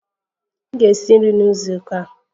M ga-esi nri na izu ụka a